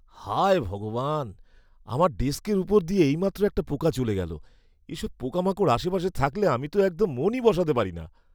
হায় ভগবান! আমার ডেস্কের ওপর দিয়ে এইমাত্র একটা পোকা চলে গেল। এসব পোকামাকড় আশেপাশে থাকলে আমি তো একদম মনই বসাতে পারি না।